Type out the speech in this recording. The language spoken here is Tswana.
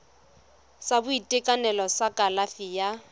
sa boitekanelo sa kalafi ya